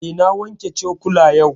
Eh, na wanke cokula yau